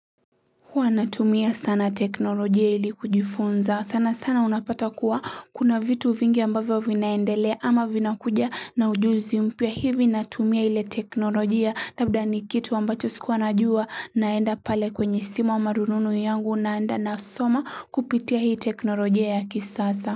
Huwa natumia sana teknolojia ili kujifunza sana sana unapata kuwa kuna vitu vingi ambavyo vinaendelea ama vina kuja na ujuzi mpya hivi natumia ile teknolojia labda ni kitu ambacho sikuwa najua naenda pale kwenye simu ama rununu yangu na anda na soma kupitia hii teknolojia ya kisasa.